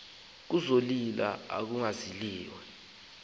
kuzolile kuthe cwaka